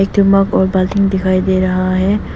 एक ठो मग और दिखाई दे रहा है।